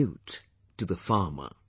Salute to the farmer